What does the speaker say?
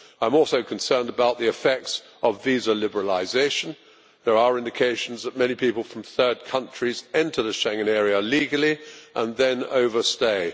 I am also concerned about the effects of visa liberalisation. There are indications that many people from third countries enter the Schengen area legally and then overstay.